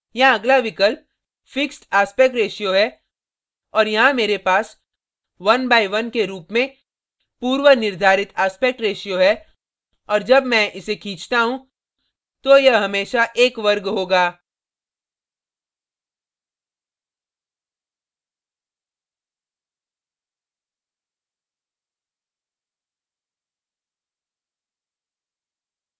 यहाँ अगला विकल्प fixed aspect ratio fixed aspect ratio है और यहाँ मेरे पास 1 by 1 के रूप में पूर्वनिर्धारित aspect ratio है और जब मैं इसे खींचता हूँ तो यह हमेशा एक वर्ग होगा